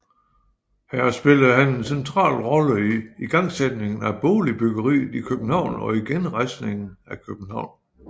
Her spillede han en central rolle i igangsætningen af boligbyggeriet i København og i genrejsningen af København